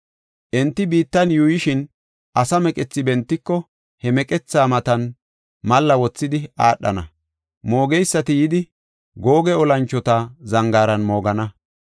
Enti biittan yuuyishin, asa meqethi bentiko, he meqetha matan malla wothidi aadhana. Moogeysati yidi, Googe Olanchota zangaaran moogana.